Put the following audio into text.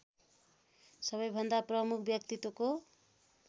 सबैभन्दा प्रमुख व्यक्तित्वको